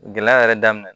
Gɛlɛya yɛrɛ daminɛ